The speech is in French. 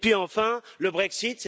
Et puis enfin, le Brexit.